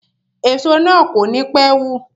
Èso na kò ní pé wù.